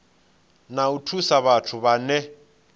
na u thusa vhathu vhane